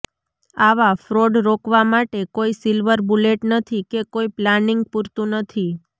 આવા ફ્રોડ રોકવા માટે કોઇ સિલ્વર બુલેટ નથી કે કોઇ પ્લાનિંગ પૂરતું નથી